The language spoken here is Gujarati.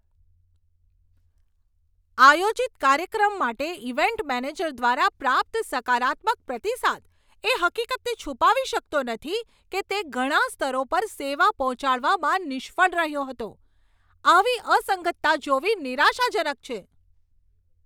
આયોજિત કાર્યક્રમ માટે ઇવેન્ટ મેનેજર દ્વારા પ્રાપ્ત સકારાત્મક પ્રતિસાદ એ હકીકતને છુપાવી શકતો નથી કે તે ઘણા સ્તરો પર સેવા પહોંચાડવામાં નિષ્ફળ રહ્યો હતો. આવી અસંગતતા જોવી નિરાશાજનક છે.